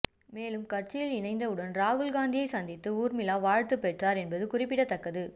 மேலும் கட்சியில் இணைந்தவுடன் ராகுல்காந்தியை சந்தித்து ஊர்மிளா வாழ்த்து பெற்றார் என்பது குறிப்ப்பிடத்தக்கது